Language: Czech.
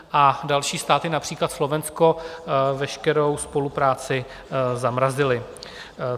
A další státy, například Slovensko, veškerou spolupráci zamrazily.